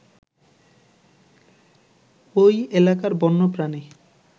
ঐ এলাকার বন্যপ্রাণী